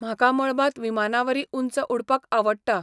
म्हाका मळबांत विमानावरीं उंच उडपाक आवडटा.